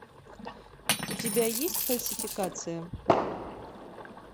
у тебя есть фальсификация